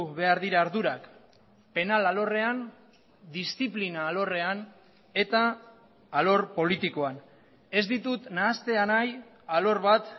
behar dira ardurak penal alorrean diziplina alorrean eta alor politikoan ez ditut nahastea nahi alor bat